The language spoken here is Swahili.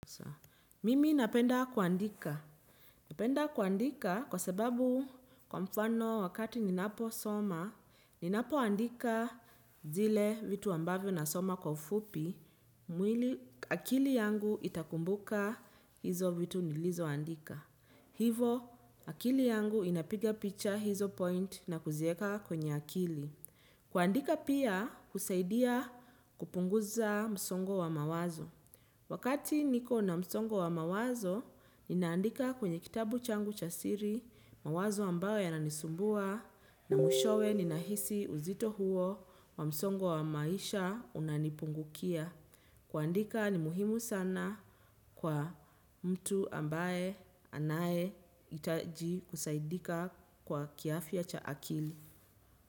Mimi napenda kuandika. Napenda kuandika kwa sababu, kwa mfano, wakati ninaposoma, ninapoandika zile vitu ambavyo nasoma kwa ufupi, akili yangu itakumbuka hivyo vitu nilivyoandika. Hivyo, akili yangu inapiga picha hizo points na kuziweka kwenye akili. Kuandika pia husaidia kupunguza msongo wa mawazo. Wakati niko na msongo wa mawazo, ninaandika kwenye kitabu changu cha siri, mawazo ambayo yananisumbua, na mwishowe ninahisi uzito huo wa msongo wa maisha unanipungukia. Kuandika ni muhimu sana kwa mtu ambaye anayehitaji kusaidika kwa kiafya cha akili.